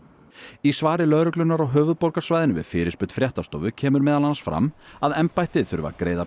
í svari lögreglunnar á höfuðborgarsvæðinu við fyrirspurn fréttastofu kemur meðal annars fram að embættið þurfi að greiða